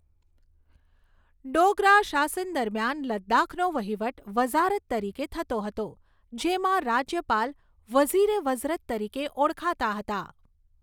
ડોગરા શાસન દરમિયાન લદ્દાખનો વહીવટ વઝારત તરીકે થતો હતો, જેમાં રાજ્યપાલ વઝીર એ વઝરત તરીકે ઓળખાતા હતા.